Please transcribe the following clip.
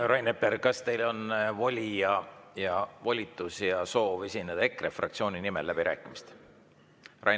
Rain Epler, kas teile on voli ja volitus ja soov esineda EKRE fraktsiooni nimel läbirääkimistel?